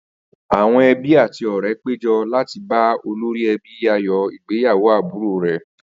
Àwo̩n e̩bí àti ò̩ré̩ pé jo̩ láti bá olórí e̩bí yayò̩ ìgbéyàwó àbúrò rè̩